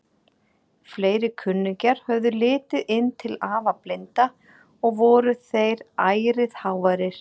Fleiri kunningjar höfðu litið inn til afa blinda og voru þeir ærið háværir.